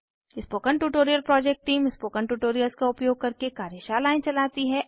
spoken tutorial project team spoken tutorials का उपयोग करके कार्यशालाएं चलाती है